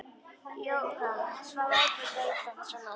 Jóra svaf ákaflega illa þessa nótt.